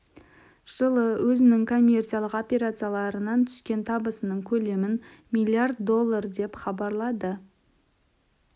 жылы өзінің коммерциялық операцияларынан түскен табысының көлемін миллиард доллар деп хабарлады